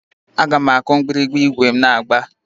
Aga m akụ mgbịrịgba ígwè m na-agba.